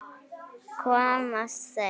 Komast þeir???